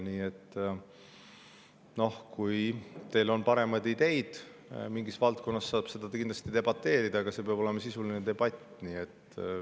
Nii et kui teil on paremaid ideid mingis valdkonnas, siis saab kindlasti debateerida, aga see peab olema sisuline debatt.